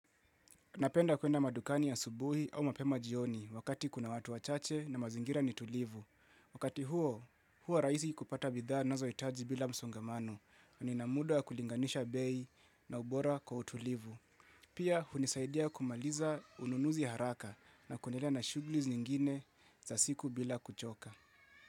Napenda kuenda madukani asubuhi au mapema jioni wakati kuna watu wachache na mazingira ni tulivu. Wakati huo, huwa rahisi kupata bidhaa nazohitaji bila msongamano. Nina muda wa kulinganisha bei na ubora kwa utulivu. Pia hunisaidia kumaliza ununuzi haraka na kuendelea na shughuli zingine za siku bila kuchoka.